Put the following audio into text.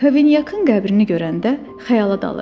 Kavenyakın qəbrini görəndə xəyala dalıram.